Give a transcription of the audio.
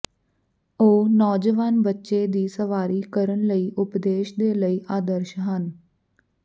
ਉਹ ਨੌਜਵਾਨ ਬੱਚੇ ਦੀ ਸਵਾਰੀ ਕਰਨ ਲਈ ਉਪਦੇਸ਼ ਦੇ ਲਈ ਆਦਰਸ਼ ਹਨ